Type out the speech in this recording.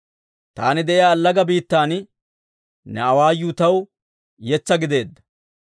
Taani de'iyaa allaga biittan, ne awaayuu taw yetsaa gideedda.